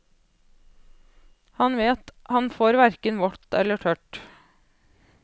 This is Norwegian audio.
Han vet han får hverken tørt eller vått.